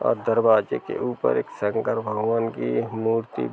और दरवाजे के ऊपर एक शंकर भगवान की मूर्ति --